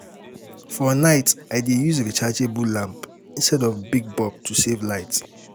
For night, I dey use rechargeable lamp lamp instead of big bulb to save light.